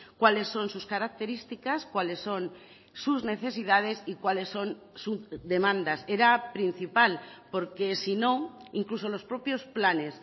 cuáles son sus características cuáles son sus necesidades y cuáles son sus demandas era principal porque si no incluso los propios planes